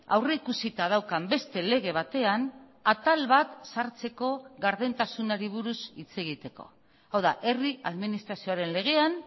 aurrikusita daukan beste lege batean atal bat sartzeko gardentasunari buruz hitz egiteko hau da herri administrazioaren legean